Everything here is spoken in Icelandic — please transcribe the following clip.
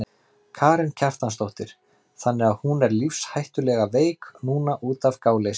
Karen Kjartansdóttir: Þannig að hún er lífshættulega veik núna útaf gáleysi?